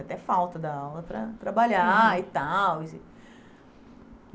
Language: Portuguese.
Até falta da aula para trabalhar e tal.